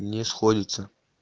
не сходится